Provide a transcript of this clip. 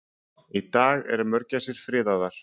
Í dag eru mörgæsir friðaðar.